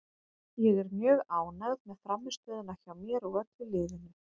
Ég er mjög ánægð með frammistöðuna hjá mér og öllu liðinu.